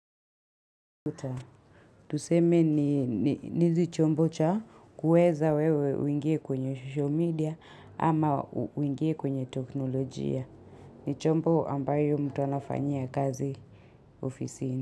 Tuseme ni nizi chombo cha kuweza wewe uingie kwenye show media ama uingie kwenye teknolojia. Ni chombo ambayo mtu anafanyia kazi ofisini.